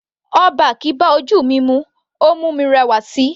All back bá ojú mi mu, ó mú mi rẹwà síi.